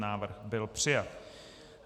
Návrh byl přijat.